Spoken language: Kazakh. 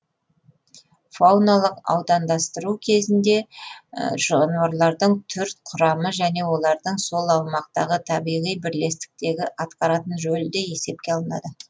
фауналық аудандастыру кезінде жануарлардың түр құрамы және олардың сол аумақтағы табиғи бірлестіктегі атқаратын рөлі де есепке алынады